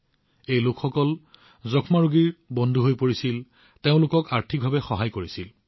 নিক্ষয় মিত্ৰ হিচাপে এই লোকসকলে ৰোগীসকলৰ যত্ন লৈছে তেওঁলোকক আৰ্থিকভাৱে সহায় কৰিছে